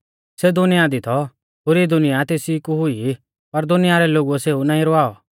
सेऊ दुनिया दी थौ पुरी दुनिया तेसी कु हुई पर दुनिया रै लोगुऐ सेऊ नाईं रवावौ